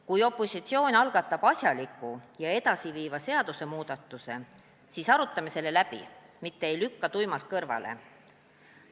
Kui opositsioon algatab asjaliku ja edasiviiva seadusmuudatuse, siis arutame selle läbi, mitte ei lükka tuimalt kõrvale.